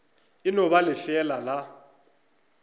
e no ba lefeela la